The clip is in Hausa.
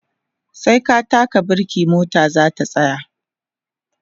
sai ka taka birke mota zata tsaya